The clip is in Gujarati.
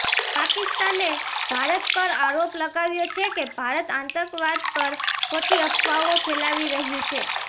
પાકિસ્તાને ભારત પર આરોપ લગાવ્યો છે કે ભારત આતંકવાદ પર ખોટી અફવાઓ ફેલાવી રહ્યુ છે